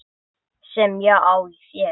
Sem ég á í þér.